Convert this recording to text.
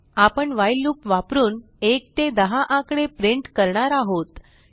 आपण while loop वापरून 1 ते 10 आकडे प्रिंट करणार आहोत